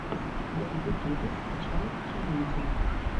в ютубе скачай челленджи